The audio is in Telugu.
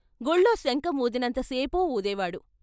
గుళ్లో శంఖం వూదినంత సేపు వూదేవాడు.